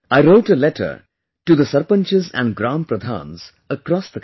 I wrote a letter to the Sarpanchs and Gram Pradhans across the country